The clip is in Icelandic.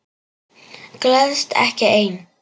Gleðst ekki ein.